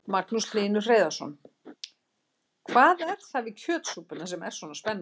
Magnús Hlynur Hreiðarsson: Hvað er það við kjötsúpuna sem er svona spennandi?